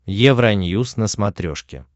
евроньюс на смотрешке